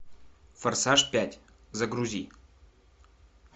форсаж пять загрузи